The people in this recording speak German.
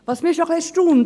Ich bin etwas erstaunt.